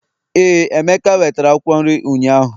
éè, emeka wetere Akwụkwọ nri ụnyaahụ